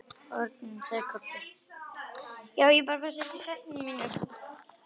HORNIN, sagði Kobbi.